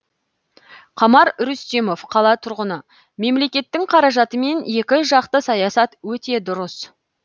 қамар рүстемов қала тұрғыны мемлекеттің қаражатымен екі жақты саясат өте дұрыс